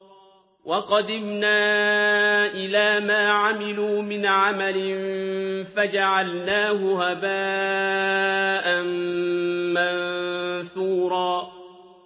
وَقَدِمْنَا إِلَىٰ مَا عَمِلُوا مِنْ عَمَلٍ فَجَعَلْنَاهُ هَبَاءً مَّنثُورًا